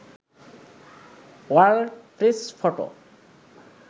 world press photo